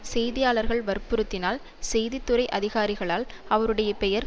செய்தியாளர்கள் வற்புறுத்தினால் செய்தி துறை அதிகாரிகளால் அவருடைய பெயர்